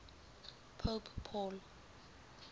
pope paul